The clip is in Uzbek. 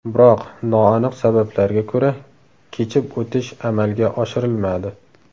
Biroq noaniq sabablarga ko‘ra kechib o‘tish amalga oshirilmadi.